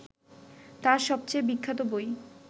তাঁর সবচেয়ে বিখ্যাত বই